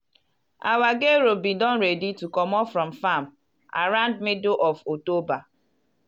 our gero been don ready to comot from farm around middle of october.